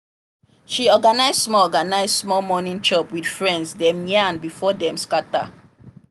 she organize small organize small morning chop with friends dem yarn before dem scatter.